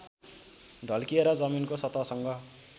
ढल्किएर जमिनको सतहसँग